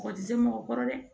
Mɔgɔ tɛ se mɔgɔ kɔrɔ dɛ